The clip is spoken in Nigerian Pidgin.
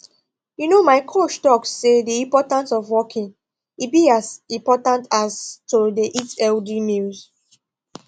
you know my coach talk say the importance of walking e be as important as to dey eat healthy meals